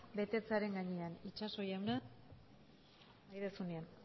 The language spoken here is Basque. betetzearen gainean itxaso jauna nahi duzuenean